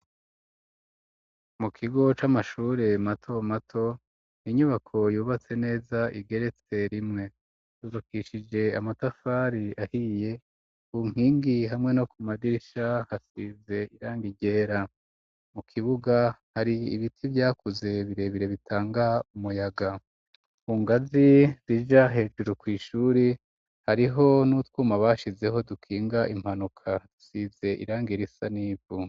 Mu kigo c'amashure mato mato inyubako yubatse neza igeretse rimwe, yubakishije amatafari ahiye, ku nkingi hamwe no ku madirisha hasize irangi ryera, mu kibuga hari ibiti vyakuze birebire bitanga umuyaga, kungazi zija hejuru kw'ishure hariho n'utwuma bashizeho dukinga impanuka isize irangi risa n'ivu.